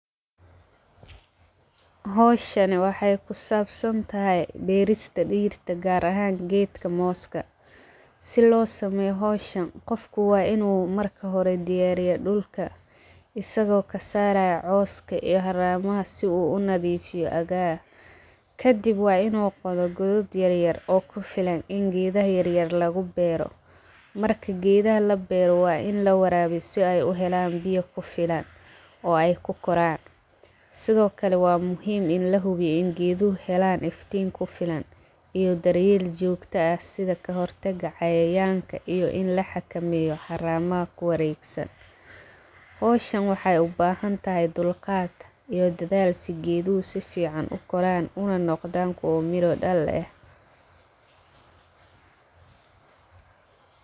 Hawshan waxay ku saabsantahy beerista dhirta gaar ahaan geedka moska. Si loo sameeyo hawshan qofka waa inu marka hore diyaariyo dhulka isago kasaarayo cawska iyo haramaha si uu nadiifiyo agar kadib waa inu qoda godad yaryar oo ku filan in geedaha yaryar lagu beera marki geedaha la beera waa in lawaraabiya si ay u helaan biya ku filan o ay ku koraan. Sidokale waa muhiim in lahubiyo in geeduhu helan iftiin ku filan iyo daryeel jogta ah sida kahortaga cayayanka iyo in laxakameyo haramaha ku waregsan. Hawshan waxay u bahantahay dulqad iyo dadaal si geeduhu si fican u koraan unanoqdaaan kuwa miro dhal eh.